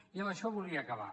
i amb això volia acabar